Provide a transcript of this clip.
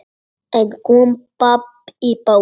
En kom babb í bátinn.